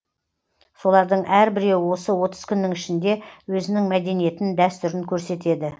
солардың әрбіреуі осы отыз күннің ішінде өзінің мәдениетін дәстүрін көрсетеді